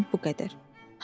Cəmi bu qədər.